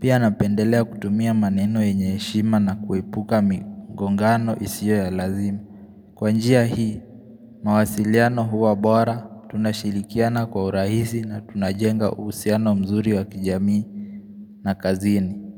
Pia napendelea kutumia maneno yenye heshima na kuepuka migongano isiyo ya lazima Kwa njia hii, mawasiliano huwa bora, tunashirikiana kwa urahisi na tunajenga uhusiano mzuri wa kijamii na kazini.